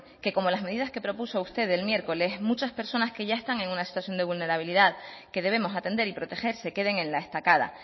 que como las medidas que propuso usted el miércoles muchas personas que ya están en una situación de vulnerabilidad que debemos atender y proteger se queden en la estacada